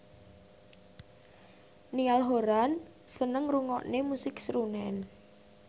Niall Horran seneng ngrungokne musik srunen